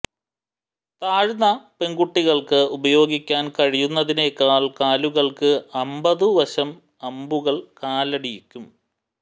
താഴ്ന്ന പെൺകുട്ടികൾക്ക് ഉപയോഗിക്കാൻ കഴിയുന്നതിനേക്കാൾ കാലുകൾക്ക് അമ്പതുവശം അമ്പുകൾ കാലടിക്കും